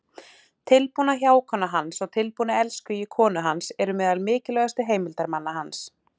Tilbúna hjákonan hans og tilbúni elskhugi konu hans eru meðal mikilvægustu heimildarmanna hans.